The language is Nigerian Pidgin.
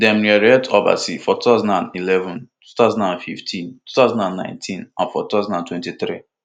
dem reelect obasa for two thousand and eleven two thousand and fifteen two thousand and nineteen and for two thousand and twenty-three